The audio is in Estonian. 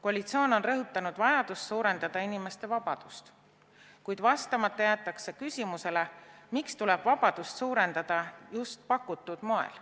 Koalitsioon on rõhutanud vajadust suurendada inimeste vabadust, kuid vastamata jäetakse küsimusele, miks tuleb vabadust suurendada just pakutud moel.